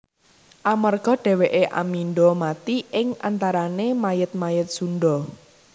Amarga dhèwèké amindha mati ing antarané mayit mayit Sundha